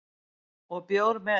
Og bjór með